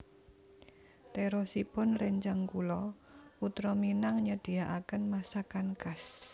Terosipun rencang kulo Putra Minang nyediaken masakan khas